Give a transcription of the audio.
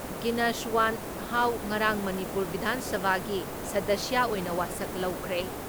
ꯒꯤꯅꯁꯋꯥꯟꯍꯥꯎ ꯉꯔꯥꯡ ꯃꯅꯤꯄꯨꯔ ꯕꯤꯙꯥꯟ ꯁꯚꯥꯒꯤ ꯁꯗꯁ꯭ꯌ ꯑꯣꯏꯅ ꯋꯥꯁꯛ ꯂꯧꯈ꯭ꯔꯦ ꯫